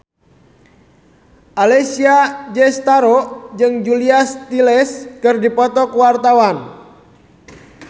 Alessia Cestaro jeung Julia Stiles keur dipoto ku wartawan